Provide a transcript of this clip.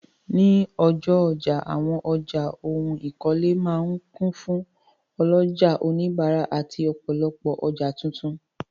Ní ọjọ́ ọjà, àwọn ọjà ohun ìkọ́lé máa ń kún fún ọlọ́jà, òníbárà àti ọ̀pọ̀lopọ̀ ọjà tuntun.